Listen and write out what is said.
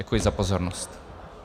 Děkuji za pozornost.